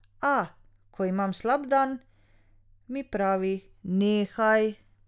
A, ko imam slab dan, mi pravi: 'Nehaj.